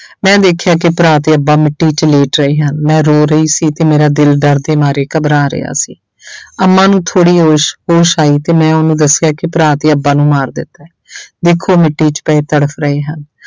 ਮੈਂ ਵੇਖਿਆ ਕਿ ਭਰਾ ਤੇ ਅੱਬਾ ਮਿੱਟੀ 'ਚ ਲੇਟ ਰਹੇ ਹਨ, ਮੈਂ ਰੋ ਰਹੀ ਸੀ ਤੇ ਮੇਰਾ ਦਿਲ ਡਰ ਦੇ ਮਾਰੇ ਘਬਰਾ ਰਿਹਾ ਸੀ ਅੰਮਾ ਨੂੰ ਥੋੜ੍ਹੀ ਹੋਸ਼ ਹੋਸ਼ ਆਈ ਤੇ ਮੈਂ ਉਹਨੂੰ ਦੱਸਿਆ ਕਿ ਭਰਾ ਤੇ ਅੱਬਾ ਨੂੰ ਮਾਰ ਦਿੱਤਾ ਹੈ ਦੇਖੋ ਮਿੱਟੀ 'ਚ ਪਏ ਤੜਫ਼ ਰਹੇ ਹਨ।